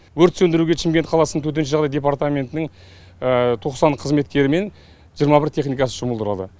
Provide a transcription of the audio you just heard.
өрт сөндіруге шымкент қаласының төтенше жағдай департаментінің тоқсан қызметкері мен жиырма бір техникасы жұмылдырылды